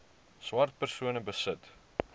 swart persone besit